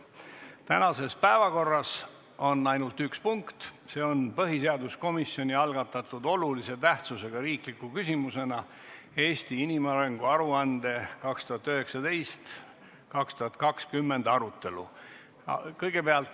Tänases päevakorras on ainult üks punkt, see on põhiseaduskomisjoni algatatud olulise tähtsusega riikliku küsimusena "Eesti inimarengu aruande 2019/2020" arutelu.